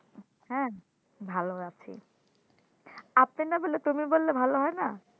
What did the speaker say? হ্যাঁ ভালো আছি, আপনি না বলে তুমি বললে ভাল হয় না?